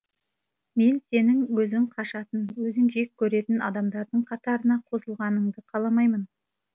мен сенің өзің қашатын өзің жек көретін адамдардың қатарына қосылғанынды қаламаймын